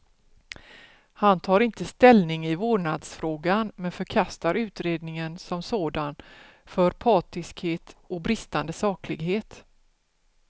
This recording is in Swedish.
Han tar inte ställning i vårdnadsfrågan, men förkastar utredningen som sådan för partiskhet och bristande saklighet.